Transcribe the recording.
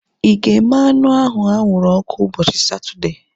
Ịga eme anụ ahu anwụrụ ọkụ ụbọchị Satọdee?